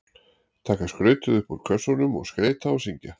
Taka skrautið upp úr kössunum og skreyta og syngja.